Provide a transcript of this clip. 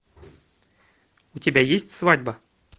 у тебя есть свадьба